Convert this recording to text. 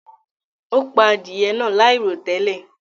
O pà adìẹ̀ náà lairotẹlẹ.